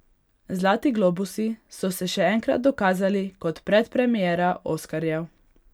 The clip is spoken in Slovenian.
Zlati globusi so se še enkrat dokazali kot predpremiera oskarjev.